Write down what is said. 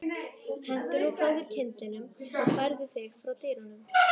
Hentu nú frá þér kyndlinum og færðu þig frá dyrunum